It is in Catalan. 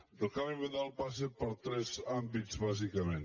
i el canvi de model passa per tres àmbits bàsicament